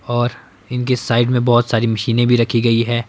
और इनके साइड में बहुत सारी मशीनें भी रखी गई है।